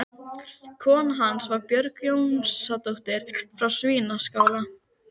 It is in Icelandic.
Úr öllum þessum bútum varð til skrýtin heimsmynd